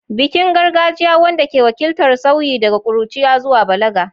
Bikin gargajiya wanda ke wakiltar sauyi daga ƙuruciya zuwa balaga.